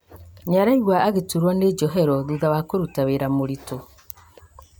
Nĩaraigua agĩturwo nĩ njohero thutha wa kũruta wĩra mũritũ